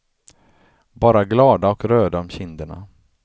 Bara glada och röda om kinderna.